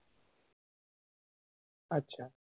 আচ্ছা